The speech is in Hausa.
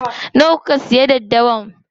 Nawa kuka soya daddawa?